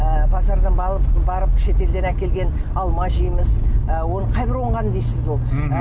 ы базардан барып шетелден әкелген алма жейміз ы оны қайбір оңған дейсіз ол мхм